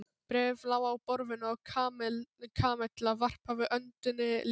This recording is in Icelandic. Bréfið lá á borðinu og Kamilla varpaði öndinni léttar.